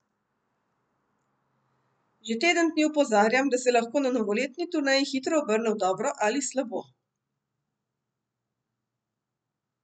Že teden dni opozarjam, da se lahko na novoletni turneji hitro obrne v dobro ali slabo.